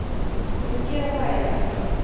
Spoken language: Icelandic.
Ég mun gera það já,